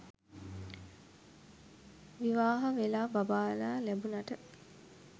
විවාහ වෙලා බබාලා ලැබුණට